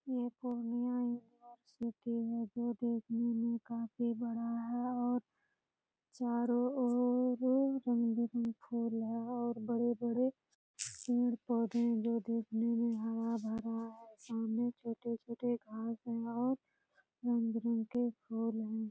ये पूर्णिया जो देखने में काफ़ी बड़ा है और चारो ओर रंग-बिरंगे फुल लगा है और बड़े बड़े पेड़-पौधे है जो देखने में हरा-भरा है सामने छोटे-छोटे घास वास है | रंग-बिरंग के फुल है |